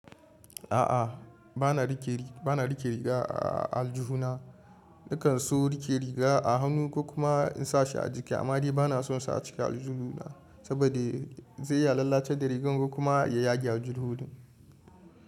A'a, ba na rike riga a aljuhuna. Nakan so rike riga a hannu ko kuma in sa shi a jiki amma dai ba na son sa a ciki aljuhuna saboda zai lalace da rigar ko kuma ya yage aljuhin.